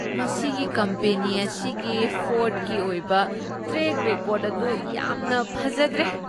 ꯃꯁꯤꯒꯤ ꯀꯝꯄꯦꯅꯤ ꯑꯁꯤꯒꯤ ꯐ꯭ꯔꯣꯗꯀꯤ ꯑꯣꯏꯕ ꯇ꯭ꯔꯦꯛ ꯔꯦꯀꯣꯔꯗ ꯑꯗꯨ ꯌꯥꯝꯅ ꯐꯖꯗ꯭ꯔꯦ ꯫